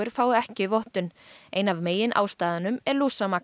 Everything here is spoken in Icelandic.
fái ekki vottun ein af meginástæðunum er